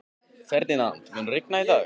Ferdinand, mun rigna í dag?